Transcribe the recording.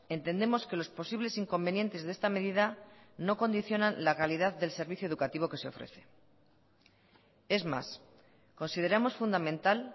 entendemos que los posibles inconvenientes de esta medida no condicionan la calidad del servicio educativo que se ofrece es más consideramos fundamental